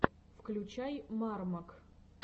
включай мармок